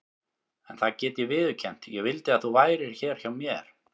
En það get ég viðurkennt: ég vildi að þú værir hér hjá mér.